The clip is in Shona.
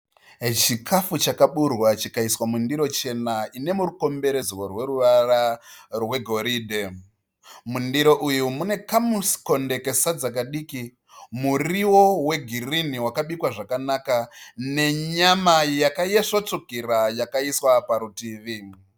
Chikafu chakaburwa chikaiswa mundiro chena ine murukomberedzwo rweruvara rwe goridhe. Mundiro uyu mune kamukonde kesadza kadiki , muriwo we girinhi wakabikwa zvakanaka nenyama yaka isvo tsvukira yakaiswa parutivi.